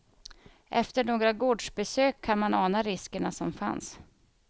Efter några gårdsbesök kan man ana riskerna som fanns.